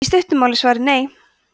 í stuttu máli er svarið nei